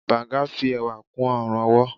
bangu fi ẹwà kú ọrun-ọwọ.